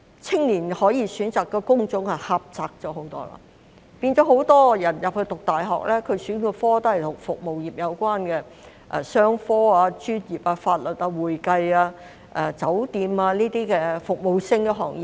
青年可以選擇的工種狹窄了很多，很多人入讀大學時選修的科目也與服務業有關，例如商科、專業、法律、會計、酒店等服務性行業。